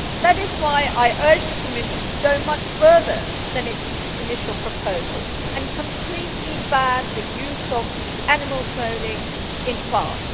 That is why I urge the Commission to go much further than its initial proposal and completely ban the use of animal cloning in farms.